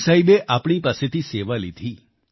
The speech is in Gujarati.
ગુરુ સાહિબે આપણી પાસેથી સેવા લીધી